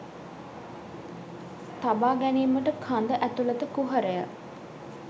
තබා ගැනීමට කඳ ඇතුළත කුහරය